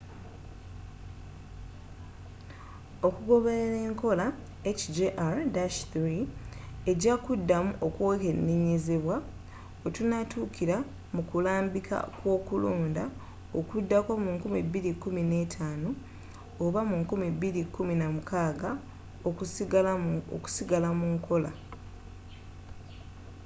okugoberera enkola hjr-3 eja kudamu okwekenenyezebwa wetunatukira mukulambika kwokulonda okudako mu 2015 oba 2016 okusigala munkola